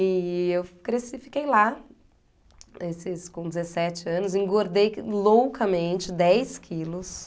E eu cresci, fiquei lá, eh, dezesseis, com dezessete anos, engordei loucamente dez quilos.